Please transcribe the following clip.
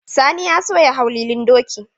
Sani ya so ya hau lilin doki